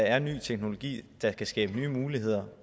er ny teknologi der kan skabe nye muligheder